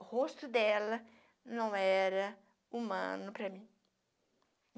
O rosto dela não era humano para mim.